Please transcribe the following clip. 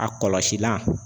A kɔlɔsilan